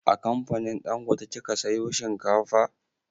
A kamfanin dangote kika sayo shinkafa?